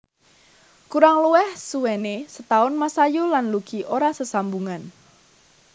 Kurang luwih suwené setaun Masayu lan Lucky ora sesambungan